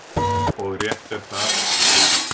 Og rétt er það.